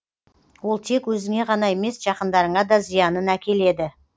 ол тек өзіңе ғана емес жақындарыңа да зиянын әкеледі